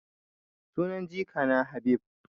Sunan jikana Habib.